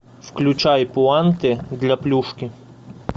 включай пуанты для плюшки